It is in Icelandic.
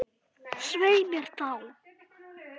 Svei mér þá.